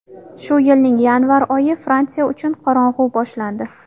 Shu yilning yanvar oyi Fransiya uchun qorong‘u boshlandi.